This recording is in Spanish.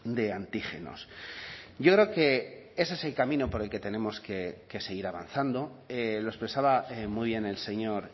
de antígenos yo creo que ese es el camino por el que tenemos que seguir avanzando lo expresaba muy bien el señor